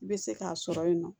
I bɛ se k'a sɔrɔ yen nɔ